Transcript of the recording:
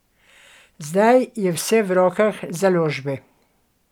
Zdaj je vse v rokah založbe.